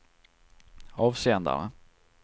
avsändare